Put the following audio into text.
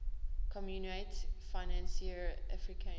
communaute financiere africaine